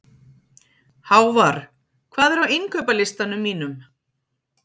Hávarr, hvað er á innkaupalistanum mínum?